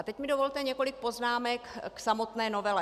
A teď mi dovolte několik poznámek k samotné novele.